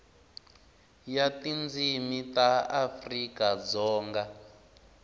ya tindzimi ta afrika dzonga